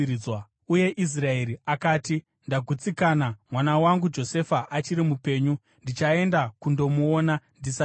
Uye Israeri akati, “Ndagutsikana! Mwana wangu Josefa achiri mupenyu. Ndichaenda kundomuona ndisati ndafa.”